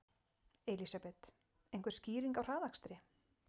Elísabet: Einhver skýring á hraðakstri?